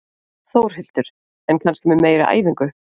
Þórhildur: En kannski með meiri æfingu?